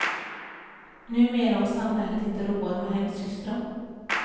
Numera har samhället inte råd med hemsystrar.